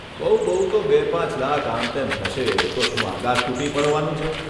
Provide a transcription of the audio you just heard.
બહુ બહુ તો બે પાંચ લાખ આમ તેમ થશે તો શું આકાશ તૂટી પડવાનું છે?